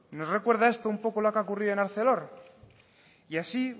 no os recuerda esto un poco lo que ha ocurrido en arcelor y así